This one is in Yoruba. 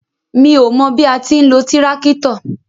Mi ó mọ bí a ti ń lo tíráktọ̀.